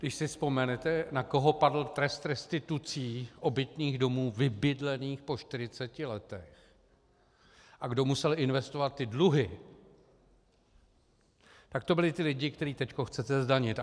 Když si vzpomenete, na koho padl trest restitucí obytných domů vybydlených po 40 letech a kdo musel investovat ty dluhy, tak to byli ti lidé, které teď chcete zdanit.